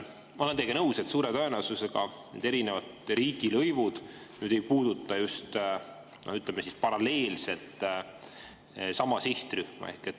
Ma olen teiega nõus, et suure tõenäosusega need erinevad riigilõivud ei puuduta, ütleme, paralleelselt sama sihtrühma.